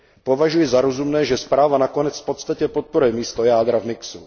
Považuji za rozumné, že zpráva nakonec v podstatě podporuje místo jádra v mixu.